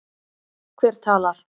Hver talar?